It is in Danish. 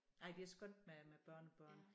Nej det er skønt med med børnebørn